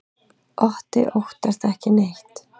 Otti óttast ekki neitt!